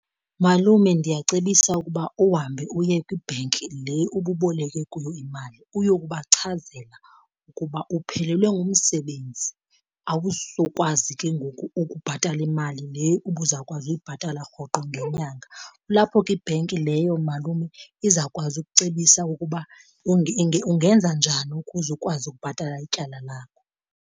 Malume, ndiyacebisa ukuba uhambe uye kwi-bank le ububoleke kuyo imali uyokubachazela ukuba uphelelwe ngumsebenzi awuzukwazi ke ngoku ukubhatala imali le ubuzawukwazi uyibhatala rhoqo ngenyanga. Kulapho ke i-bank leyo malume izawukwazi ukucebisa ukuba ungenza njani ukuze ukwazi ukubhatala ityala lakho.